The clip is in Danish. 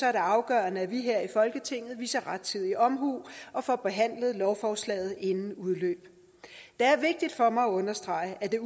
er det afgørende at vi her i folketinget viser rettidig omhu og får behandlet lovforslaget inden udløbet det er vigtigt for mig at understrege at det